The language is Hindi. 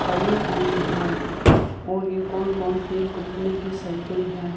खड़ी हुई हैं और ये कौन-कौन सी कम्पनी की सायकल है।